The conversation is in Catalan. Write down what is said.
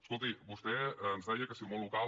escolti vostè ens deia que si el món local